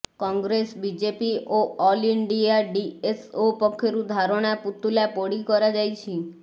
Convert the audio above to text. Congress BJP ଓ all India DSO ପକ୍ଷରୁ ଧାରଣା ପୁତୁଲା ପୋଡ଼ି କରାଯାଇଛି